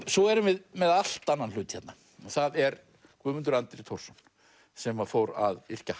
svo erum við með allt annan hlut hérna og það er Guðmundur Andri Thorsson sem fór að yrkja